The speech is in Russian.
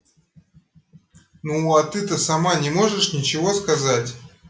ну а ты-то сама не можешь ничего сказать